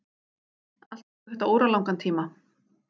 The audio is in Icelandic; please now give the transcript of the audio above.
Allt tekur þetta óralangan tíma.